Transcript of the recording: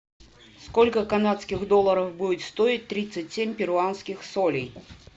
сколько канадских долларов будет стоить тридцать семь перуанских солей